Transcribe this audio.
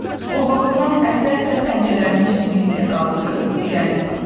O qorxudan əsə-əsə pəncələrini çətinliklə qaldırıb irəli uzatdı.